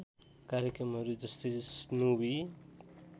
कार्यक्रमहरू जस्तै स्नोवी